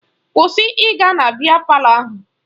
Kwụsị ịga na biya palọ ahụ!